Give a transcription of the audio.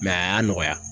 a y'a nɔgɔya